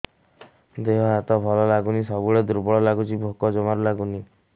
ଦେହ ହାତ ଭଲ ଲାଗୁନି ସବୁବେଳେ ଦୁର୍ବଳ ଲାଗୁଛି ଭୋକ ଜମାରୁ ଲାଗୁନି